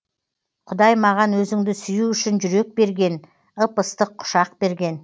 құдай маған өзіңді сүю үшін жүрек берген ып ыстық құшақ берген